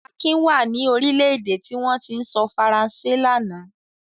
Akin wà ní orílẹ̀-èdè tí wọ́n ti ń sọ Faransé lánàá.